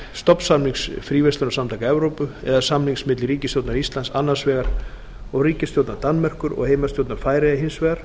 stofnsamnings fríverslunarsamtaka evrópu eða samnings milli ríkisstjórnar íslands annars vegar og ríkisstjórnar danmerkur og heimastjórnar færeyja hins vegar